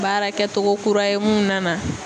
Baara kɛtogo kura ye mun nana